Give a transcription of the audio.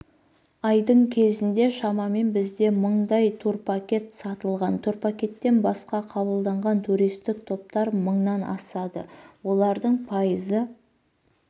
айдың кезінде шамамен бізде мыңдай турпакет сатылған турпакеттен басқа қабылданған туристік топтар мыңнан асады олардың пайызы